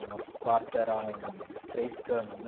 O nosso quarto era um três camas, né?